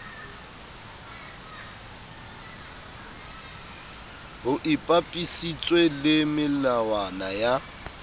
ho ipapisitswe le melawana ya